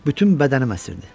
Bütün bədənim əsirdi.